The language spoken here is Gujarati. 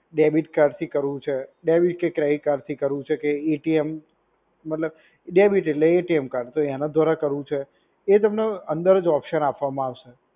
ડેબિટકાર્ડ થી કરવું છે, ડેબિટ કે ક્રેડિટકાર્ડ થી કરવું છે કે એ ટી એમ મતલબ ડેબિટ એટલે એ ટી એમ કાર્ડ. તો એના દ્વારા કરવું છે. એ તમને અંદર જ ઓપ્શન આપવામાં આવશે.